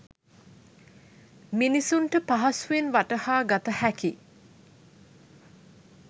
මිනිසුන්ට පහසුවෙන් වටහා ගතහැකි